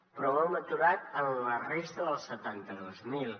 però ho hem aturat en la resta dels setanta dos mil